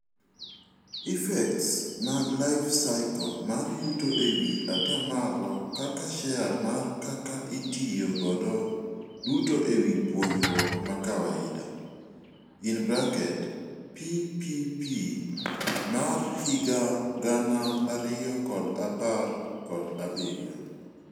Effects mag life cycle mar yuto ewii ataa malo kaka share mar kaka itiyo godo duto ewii puonjruok makawaida (PPP mar higa gana ariyo kod apar kod abirio)